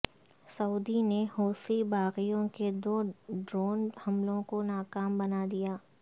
سعودی نے حوثی باغیوں کے دو ڈرون حملوں کو ناکام بنا دیا